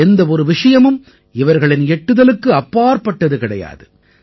எந்த ஒரு விஷயமும் இவர்களின் எட்டுதலுக்கு அப்பாற்பட்டது கிடையாது